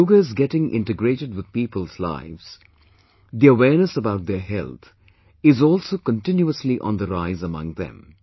As 'Yoga' is getting integrated with people's lives, the awareness about their health, is also continuously on the rise among them